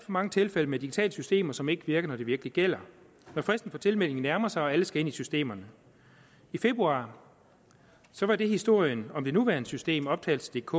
mange tilfælde med digitale systemer som ikke virker når det virkelig gælder når fristen for tilmelding nærmer sig og alle skal ind i systemerne i februar var det historien om det nuværende system optagelsedk